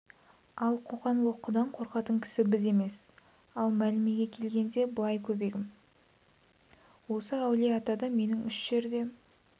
ал қоқан-лоқыдан қорқатын кісі біз емес ал мәмілеге келгенде былай көбегім осы әулие-атада менің үш жерде